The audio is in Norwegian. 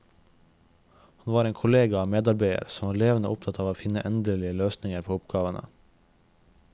Han var en kollega og medarbeider som var levende opptatt av å finne endelige løsninger på oppgavene.